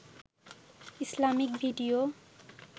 Islamic video